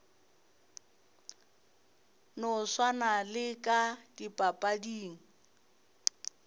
no swana le ka dipapading